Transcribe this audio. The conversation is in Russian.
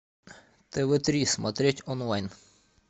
тв три смотреть онлайн